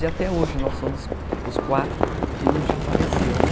E até hoje nós somos os quatro, que um já faleceu, né?